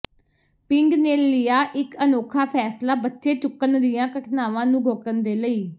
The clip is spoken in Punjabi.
ਪਿੰਡ ਨੇ ਲਿਆ ਇੱਕ ਅਨੋਖਾ ਫੈਸਲਾ ਬੱਚੇ ਚੁੱਕਣ ਦੀਆ ਘਟਨਾਵਾਂ ਨੂੰ ਰੋਕਣ ਦੇ ਲਈ